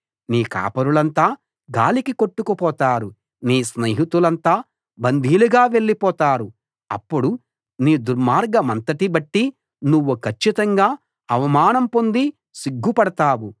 నీ కాపరులంతా గాలికి కొట్టుకుపోతారు నీ స్నేహితులంతా బందీలుగా వెళ్ళిపోతారు అప్పుడు నీ దుర్మార్గమంతటి బట్టి నువ్వు కచ్చితంగా అవమానం పొంది సిగ్గుపడతావు